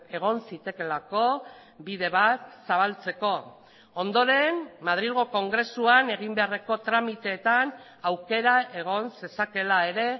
egon zitekeelako bide bat zabaltzeko ondoren madrilgo kongresuan egin beharreko tramiteetan aukera egon zezakeela ere